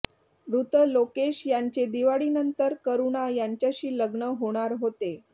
मृत लोकेश यांचे दिवाळीनंतर करुणा यांच्याशी लग्न होणार होते